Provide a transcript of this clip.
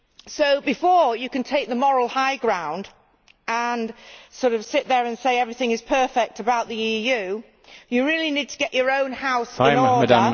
So before you can all take the moral high ground and sit there and say everything is perfect about the EU, you really need to get your own house in order